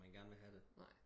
Man gerne vil have det